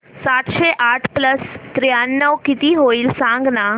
सातशे आठ प्लस त्र्याण्णव किती होईल सांगना